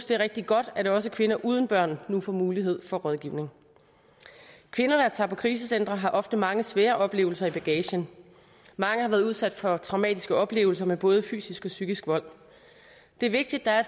det er rigtig godt at også kvinder uden børn nu får mulighed for rådgivning kvinder der tager på krisecentre har ofte mange svære oplevelser i bagagen mange har været udsat for traumatiske oplevelser med både fysisk og psykisk vold det er vigtigt at der er